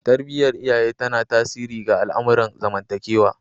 Tarbiyar iyaye tana tasiri ga al'amuran zamantakewa